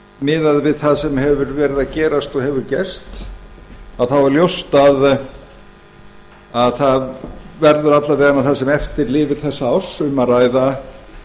miðað við það sem hefur verið að gerast og hefur gerst er ljóst að það verður alla vega það sem eftir lifir þessa árs um að ræða